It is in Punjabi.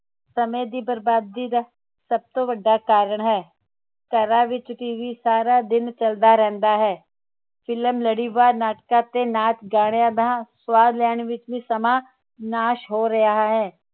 ਸਮੇ ਦੀ ਬਰਬਾਦੀ ਦਾ ਸਭ ਤੋਂ ਵੱਡਾ ਕਾਰਣ ਹੈ ਘਰਾਂ ਵਿਚ ਟੀਵੀ ਸਾਰਾ ਦਿਨ ਚਲਦਾ ਰਹਿੰਦਾ ਹੈ film ਲੜੀਵਾਰ ਨਾਟਕ ਤੇ ਨਾਚ ਗਾਣਿਆਂ ਦਾ ਸਵਾਦ ਲੈਣ ਵਿਚ ਵੀ ਸਮਾਂ ਨਾਸ਼ ਹੋ ਰਿਹਾ ਹੈ